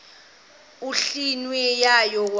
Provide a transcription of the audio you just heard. endlwini yayo kwakukho